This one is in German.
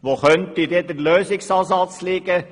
Wo könnte der Lösungsansatz liegen?